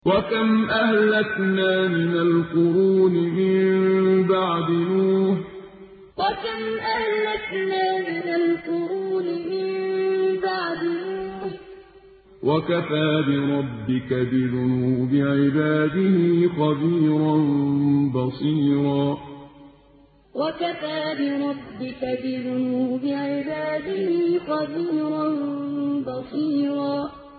وَكَمْ أَهْلَكْنَا مِنَ الْقُرُونِ مِن بَعْدِ نُوحٍ ۗ وَكَفَىٰ بِرَبِّكَ بِذُنُوبِ عِبَادِهِ خَبِيرًا بَصِيرًا وَكَمْ أَهْلَكْنَا مِنَ الْقُرُونِ مِن بَعْدِ نُوحٍ ۗ وَكَفَىٰ بِرَبِّكَ بِذُنُوبِ عِبَادِهِ خَبِيرًا بَصِيرًا